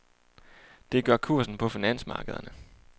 Det gør kursen på finansmarkederne.